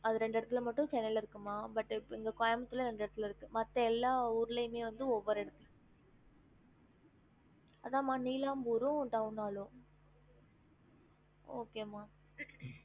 அது ரெண்டு இடத்துல மட்டும் சென்னைல இருக்கு மா but இப்ப இங்க கோயம்புத்தூர் ல ரெண்டு இடத்தில இருக்கு மத்த எல்லா ஊருலயுமே வந்து ஒவ்வொரு இடத்துல அதாம்மா நீலாம்பூரும் town hall லும் okay மா